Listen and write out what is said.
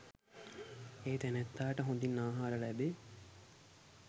ඒ තැනැත්තාට හොඳින් ආහාර ලැබේ.